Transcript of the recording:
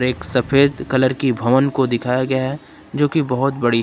सफेद कलर की भवन को दिखाया गया है जोकि बहुत बड़ी है।